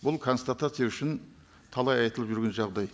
бұл констатация үшін талай айтылып жүрген жағдай